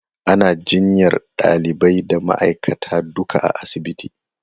Ana jinyar ɗalibai da ma'aikata duka a asibitin.